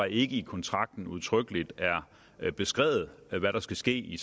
ikke i kontrakten udtrykkeligt er beskrevet hvad der skal ske i